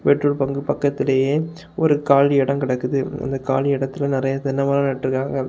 Petrol bunk பக்கத்திலேயே ஒரு காலி எட கெடக்குது அந்த காலி எடத்துல நிறைய தென்னை மரோ நட்ருக்காங்க.